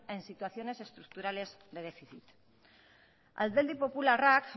en situaciones estructurales de déficit alderdi popularrak